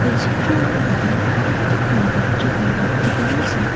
এই চিত্ৰখনত এটা প্ৰাকৃতিক সন্দৰ্য্য পৰিলক্ষিত হৈছে।